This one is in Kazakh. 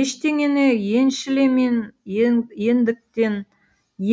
ештеңені еншілемен ендіктен